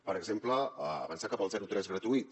per exemple avançar cap al zero tres gratuït